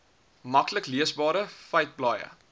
maklik leesbare feiteblaaie